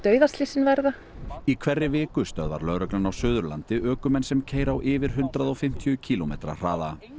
banaslysin verða í hverri viku stöðvar lögreglan á Suðurlandi ökumenn sem keyra á yfir hundrað og fimmtíu kílómetra hraða